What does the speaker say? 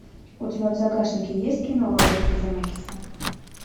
у тебя в загашнике есть кино роберта земекиса